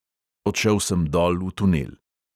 Odšel sem dol v tunel.